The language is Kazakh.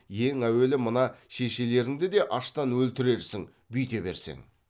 ен әуелі мына шешелеріңді де аштан өлтірерсің бүйте берсең